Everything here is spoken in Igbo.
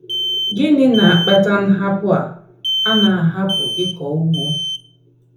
Gịnị na - akpata nhapụ a a na - ahapụ ịkọ ugbo?